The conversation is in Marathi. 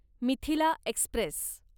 मिथिला एक्स्प्रेस